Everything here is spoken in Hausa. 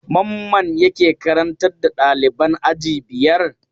Mamman yake karantar da ɗaliban aji biyar?